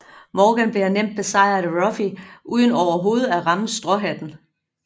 Morgan bliver nemt besejret af Ruffy uden overhovedet at ramme stråhatten